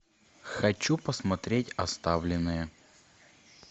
хочу посмотреть оставленные